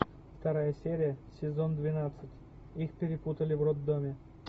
вторая серия сезон двенадцать их перепутали в роддоме